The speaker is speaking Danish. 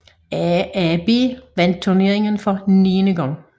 AaB vandt turneringen for niende gang